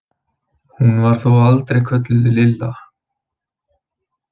Hún var þó aldrei kölluð Lilla.